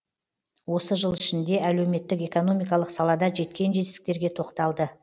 осы жыл ішінде әлеуметтік экономикалық салада жеткен жетістіктерге тоқталды